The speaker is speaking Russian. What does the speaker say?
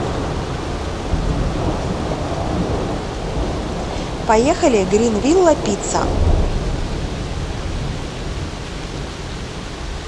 поехали грин вилла пицца